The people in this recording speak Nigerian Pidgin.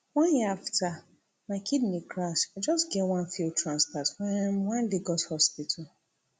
one year afta my kidney crash i just get one failed transplant for um one lagos hospital